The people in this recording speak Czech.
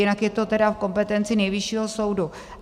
Jinak je to tedy v kompetenci Nejvyššího soudu.